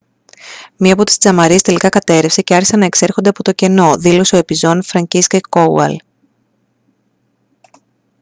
«μία από τις τζαμαρίες τελικά κατέρρευσε και άρχισαν να εξέρχονται από το κενό» δήλωσε ο επιζών φρανκίσσεκ κόουαλ